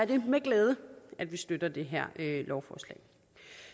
det med glæde at vi støtter det her lovforslag